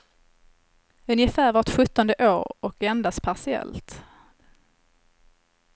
Ungefär vart sjuttonde år och endast partiellt.